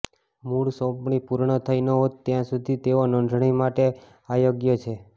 મૂળ સોંપણી પૂર્ણ થઈ ન હોત ત્યાં સુધી તેઓ નોંધણી માટે અયોગ્ય છે